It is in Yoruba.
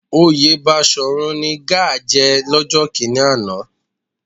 Oyè Baṣòrun ni Gáà jẹ lọ́jọ́ kíní àná